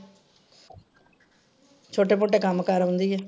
ਛੋਟੇ ਮੋਟੇ ਕੱਮ ਕਰ ਆਉਂਦੀ ਆ।